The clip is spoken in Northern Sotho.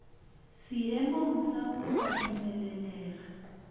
seemong sa go ka dumelelega